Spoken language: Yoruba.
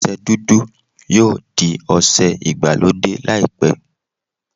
Ọsẹ dúdú yóò di ọsẹ ìgbàlódé laipẹ.